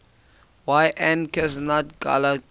yn cheshaght ghailckagh